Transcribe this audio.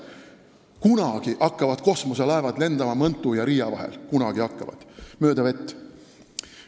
Kunagi hakkavad kosmoselaevad lendama Mõntu ja Riia vahel mööda vett, kunagi hakkavad.